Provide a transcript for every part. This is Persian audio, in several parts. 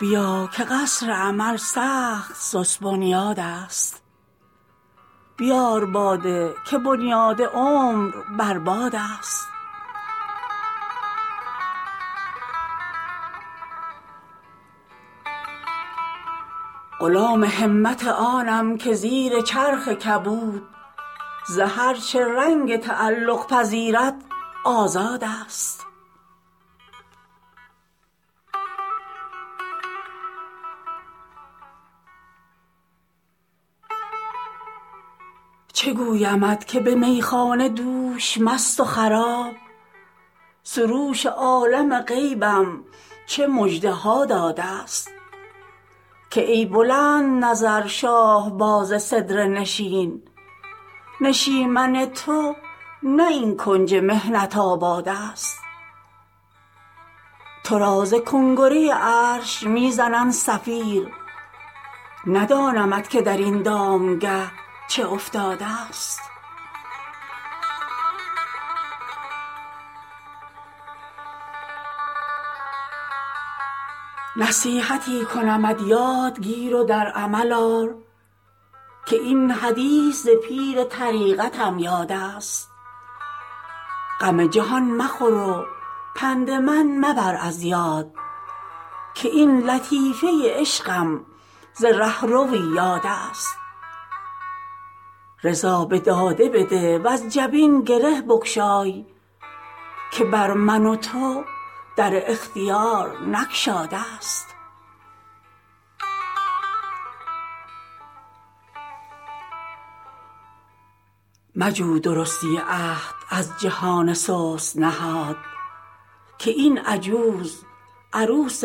بیا که قصر امل سخت سست بنیادست بیار باده که بنیاد عمر بر بادست غلام همت آنم که زیر چرخ کبود ز هر چه رنگ تعلق پذیرد آزادست چه گویمت که به میخانه دوش مست و خراب سروش عالم غیبم چه مژده ها دادست که ای بلندنظر شاهباز سدره نشین نشیمن تو نه این کنج محنت آبادست تو را ز کنگره عرش می زنند صفیر ندانمت که در این دامگه چه افتادست نصیحتی کنمت یاد گیر و در عمل آر که این حدیث ز پیر طریقتم یادست غم جهان مخور و پند من مبر از یاد که این لطیفه عشقم ز رهروی یادست رضا به داده بده وز جبین گره بگشای که بر من و تو در اختیار نگشادست مجو درستی عهد از جهان سست نهاد که این عجوز عروس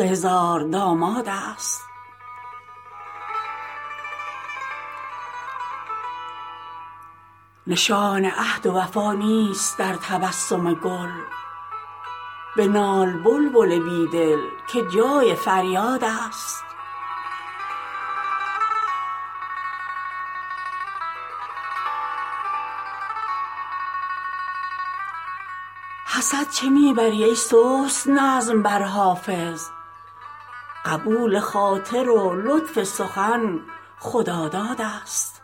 هزاردامادست نشان عهد و وفا نیست در تبسم گل بنال بلبل بی دل که جای فریادست حسد چه می بری ای سست نظم بر حافظ قبول خاطر و لطف سخن خدادادست